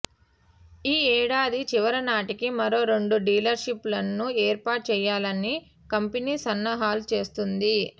ఈ ఏడాది చివరి నాటికి మరో రెండు డీలర్లషిప్లను ఏర్పాటు చేయాలని కంపెనీ సన్నాహాలు చేస్తుంది